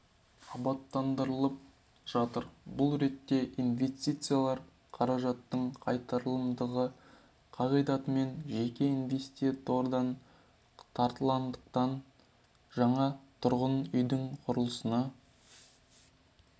абаттандырылып жатыр бұл ретте инвестициялар қаражаттың қайтарымдылығы қағидатымен жеке инвестордан тартылатындықтан жаңа тұрғын үйдің құрылысына